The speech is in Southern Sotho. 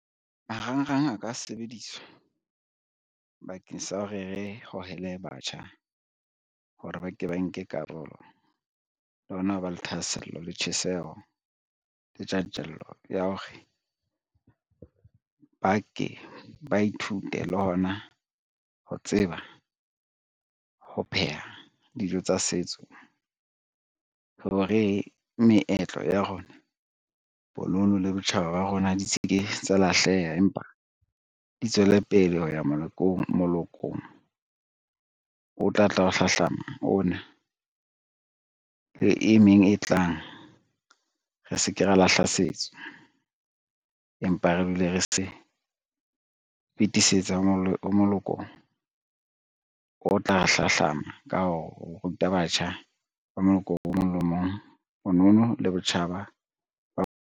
Marangrang a ka sebediswa bakeng sa ho re re hohele batjha, hore ba ke ba nke karolo le hona ho ba le thahasello le tjheseho le tjantjello ya hore ba ke ba ithute le hona ho tseba ho pheha dijo tsa setso hore, meetlo ya rona bonono le botjhaba ba rona di se ke tsa lahleha, empa di tswele pele ho ya molokong o tla tla ho hlahlama ona, le e meng e tlang. Re se ke ra lahla setso, empa re dule re se fetisetsa ho moloko o tla hlahlama ka ho ruta batjha ba moloko o mong le o mong bonono le botjhaba ba.